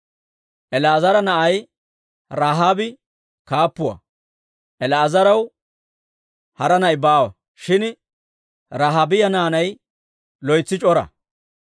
El"eezera na'ay Rahaabi kaappuwaa. El"eezaraw hara na'i baawa; shin Rahaabiyaa naanay loytsi c'ora.